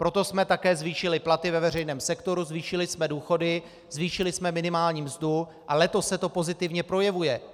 Proto jsme také zvýšili platy ve veřejném sektoru, zvýšili jsme důchody, zvýšili jsme minimální mzdu a letos se to pozitivně projevuje.